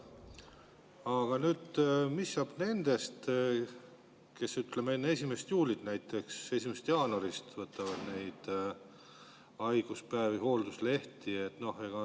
Aga nüüd, mis saab nendest, kes enne 1. juulit, näiteks 1. jaanuarist võtavad hoolduslehti?